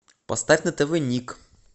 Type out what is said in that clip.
поставь на тв ник